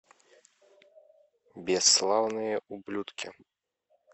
бесславные ублюдки